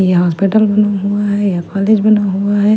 यहां हॉस्पिटल हुआ हैं हुआ हैं।